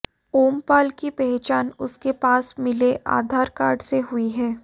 ओमपाल की पहचान उसके पास मिले आधार कार्ड से हुई है